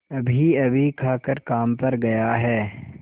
अभीअभी खाकर काम पर गया है